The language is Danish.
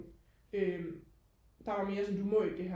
øhm der var mere sådan du må ikke det her